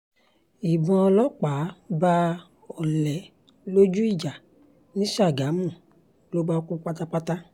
ìbọn ọlọ́pàá bá ọ̀lẹ lójú ìjà ni ṣàgámù ló bá kú pátápátá